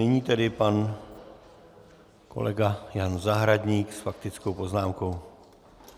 Nyní tedy pan kolega Jan Zahradník s faktickou poznámkou.